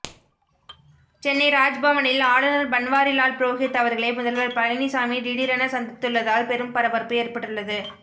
சென்னை ராஜ்பவனில் ஆளுநர் பன்வாரிலால் புரோஹித் அவர்களை முதல்வர் பழனிசாமி திடீரென சந்தித்துள்ளதால் பெரும் பரபரப்பு ஏற்பட்டுள்ளது